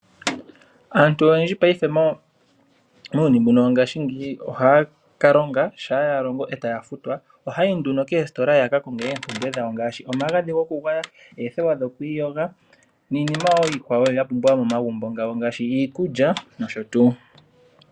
Aantu oyendji muuyuni mbuno wopaife ohaya kalonga. Shampa ya longo taya futwa ohaya yi koositola ya ka konge oompumbwe dhawo ngaashi omagadhi gokugwaya, oothewa dhokwiiyoga niipumbiwa yimwe yomo magumbo ngaashi iikulya.